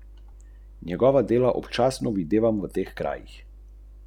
V nesreči se je prevrnilo kombinirano vozilo, več podrobnosti pa še ni znanih.